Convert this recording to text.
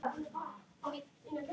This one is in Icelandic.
Þetta er rokk og ról.